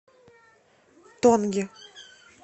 тонги